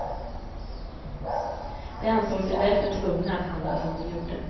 De ansåg sig därför tvungna att handla som de gjorde.